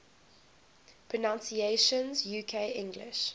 pronunciations uk english